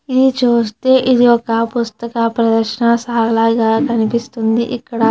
ఇది చూస్తే ఇది ఒక పుస్తక ప్రదర్శనశాల లాగా కనిపిస్తుంది. ఎక్కడ --